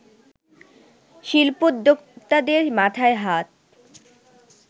শিল্পোদ্যোক্তাদের মাথায় হাত